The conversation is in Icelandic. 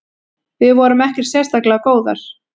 Við vorum ekkert sérstaklega góðar.